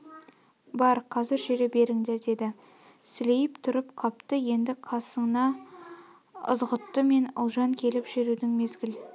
бар қазір жүре беріңдер деді сілейіп тұрып қапты енді қасына ызғұтты мен ұлжан келіп жүрудің мезгіл